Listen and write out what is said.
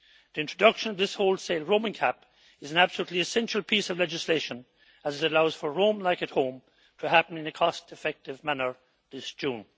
The introduction of this wholesale roaming cap is an absolutely essential piece of legislation, as it allows for roam like at home' to happen in a cost effective manner this June.